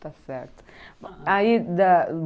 Está certo. Aí dá